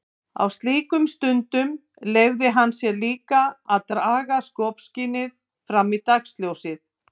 Á slíkum stundum leyfði hann sér líka að draga skopskynið fram í dagsljósið.